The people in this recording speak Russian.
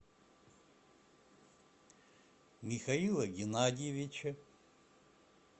михаила геннадьевича